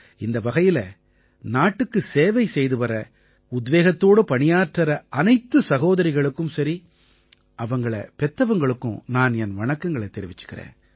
இந்த வகையில நாட்டுக்கு சேவை செய்துவர்ற உத்வேகத்தோட பணியாற்றற அனைத்து சகோதரிகளுக்கும் சரி அவங்களைப் பெற்றவங்களுக்கும் நான் என் வணக்கங்களைத் தெரிவிக்கறேன்